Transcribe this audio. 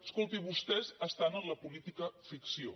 escolti vostès estan en la política ficció